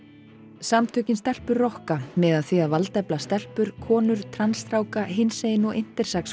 samtökin stelpur rokka miða að því að valdefla stelpur konur trans stráka kynsegin og intersex